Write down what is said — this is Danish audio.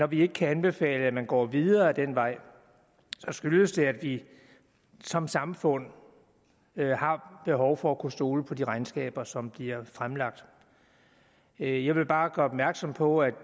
vi ikke kan anbefale at man går videre ad den vej skyldes det at vi som samfund har behov for at kunne stole på de regnskaber som bliver fremlagt jeg vil bare gøre opmærksom på at